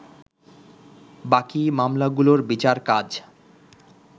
বাকি মামলাগুলোর বিচার কাজ